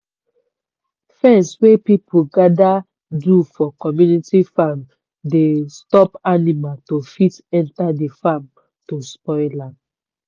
fence wey people gather do for community farm dey stop animal to fit enter de farm to spoil am.